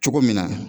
Cogo min na